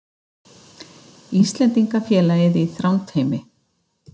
Mynd: Íslendingafélagið í Þrándheimi